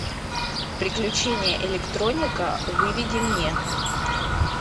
приключения электроника выведи мне